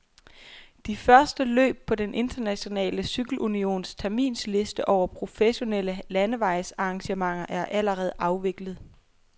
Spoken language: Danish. De første løb på den internationale cykelunions terminsliste over professionelle landevejsarrangementer er allerede afviklet.